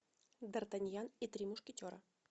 дартаньян и три мушкетера